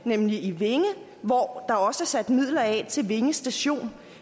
nemlig i vinge hvor der også er sat midler af til vinge station